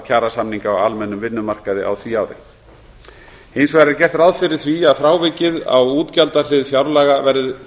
kjarasamninga á almennum vinnumarkaði á því ári hins vegar er gert ráð fyrir því að frávikið á útgjaldahlið fjárlaga verði